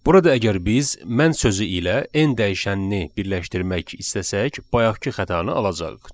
Burada əgər biz "mən" sözü ilə n dəyişənini birləşdirmək istəsək, bayaqkı xətanı alacağıq.